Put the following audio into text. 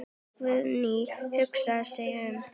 Guðný hugsar sig um.